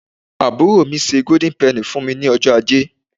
aburo mi se golden penny fún mi ní ọjọ aje